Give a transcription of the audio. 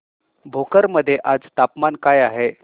भोकर मध्ये आज तापमान काय आहे